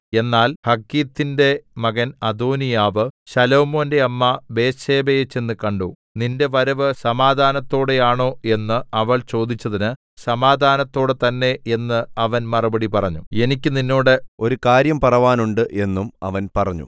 എന്നാൽ ഹഗ്ഗീത്തിന്റെ മകൻ അദോനീയാവ് ശലോമോന്റെ അമ്മ ബത്ത്ശേബയെ ചെന്നുകണ്ടു നിന്റെ വരവ് സമാധാനത്തോടെയാണോ എന്ന് അവൾ ചോദിച്ചതിന് സമാധാനത്തോടെ തന്നേ എന്ന് അവൻ മറുപടി പറഞ്ഞു